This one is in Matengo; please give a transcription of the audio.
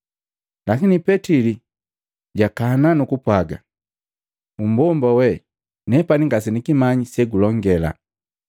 Lakini Petili jakana, nu kupwaga, “Mmbomba wee! Nepani ngasenikimanyi segulongela!”